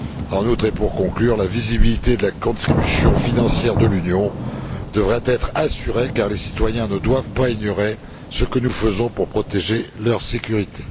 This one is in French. En outre et pour conclure, la visibilité de la contribution financière de l'Union devra être assurée car les citoyens ne doivent pas ignorer ce que nous faisons pour protéger leur sécurité.